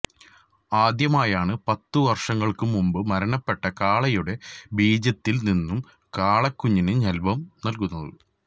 ആദ്യമായാണ് പത്തു വര്ഷങ്ങള്ക്ക് മുമ്പ് മരണപ്പെട്ട കാളയുടെ ബീജത്തില് നിന്നും കാളക്കുഞ്ഞിന് ജന്മം നല്കുന്നത്